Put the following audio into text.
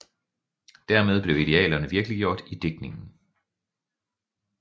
Dermed blev idealerne virkeliggjort i digtningen